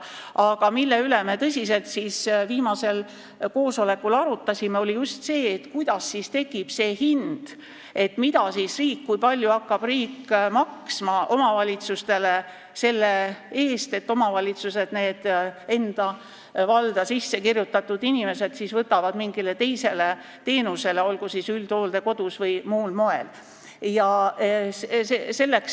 Aga me arutlesime viimasel koosolekul tõsiselt just selle üle, kuidas tekib see hind, kui palju hakkab riik maksma omavalitsustele selle eest, et omavalitsused hakkavad nende territooriumile sissekirjutatud inimestele pakkuma mingit teist teenust olgu siis üldhooldekodus või muul moel.